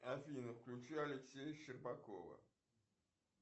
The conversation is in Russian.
афина включи алексея щербакова